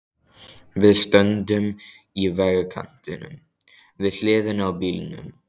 Við stöndum í vegkantinum, við hliðina á bílnum.